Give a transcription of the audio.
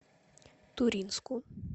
туринску